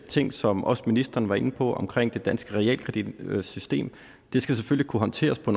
ting som også ministeren var inde på omkring det danske realkreditsystem det skal selvfølgelig kunne håndteres på